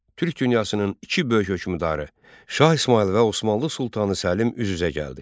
Türk dünyasının iki böyük hökmdarı Şah İsmayıl və Osmanlı sultanı Səlim üz-üzə gəldi.